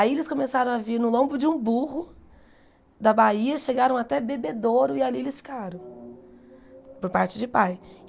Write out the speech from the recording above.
Aí eles começaram a vir no lombo de um burro da Bahia, chegaram até Bebedouro e ali eles ficaram por parte de pai.